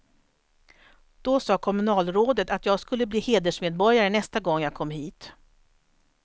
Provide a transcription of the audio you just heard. Då sa kommunalrådet att jag skulle bli hedersmedborgare nästa gång jag kom hit.